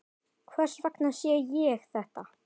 Hvers vegna sé ég þetta?